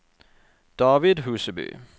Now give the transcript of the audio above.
David Huseby